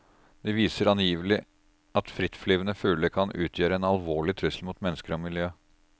De viser angivelig at frittflyvende fugler kan utgjøre en alvorlig trussel mot mennesker og miljø.